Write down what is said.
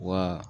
Wa